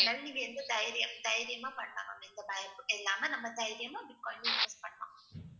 அதனால நீங்க இதைத் தைரியம் தைரியமா பண்ணலாம் ma'am எந்தப் பயமும் இல்லாம நம்ம தைரியமா பிட்காயின்ல invest பண்ணலாம்.